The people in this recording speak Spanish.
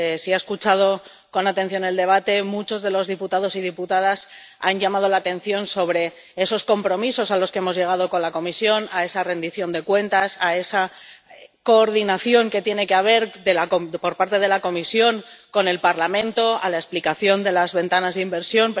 Si ha escuchado con atención el debate, muchos de los diputados y diputadas han llamado la atención sobre esos compromisos a los que hemos llegado con la Comisión, esa rendición de cuentas, esa coordinación que tiene que haber por parte de la Comisión con el Parlamento, la explicación de las ventanas de inversión